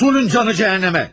Usulün canı cehenneme!